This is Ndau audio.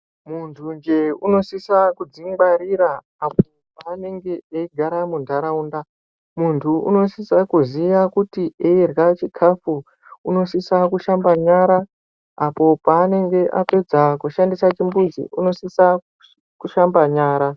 Muntunje unosisa kudzingwarira , apo panenge eyigara mundarawunda. Munthu unosisa kuziya kuti eyirya chikafu, unosisa kushamba nyara, apo panenge apedza kushandisa chimbudzi, unosisa kushamba nyara.